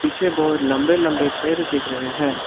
पीछे बहोत लंबे लंबे पेड़ दिख रहे है।